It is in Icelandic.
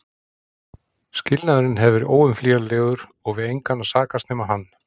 Skilnaðurinn hafði verið óumflýjanlegur og við engan að sakast nema hann.